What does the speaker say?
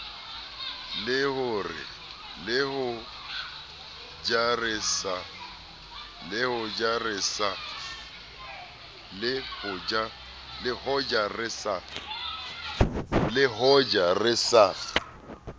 le ho ja re sa